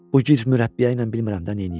Bu gic mürəbbiyə ilə bilmirəm də neyniyəm.